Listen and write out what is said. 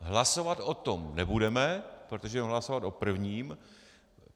Hlasovat o tom nebudeme, protože budeme hlasovat o prvním.